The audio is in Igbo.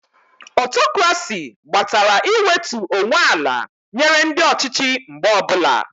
Ọtokrasi gbatara iwetu onwe ala nyere ndị ọchịchị mgbe ọbụla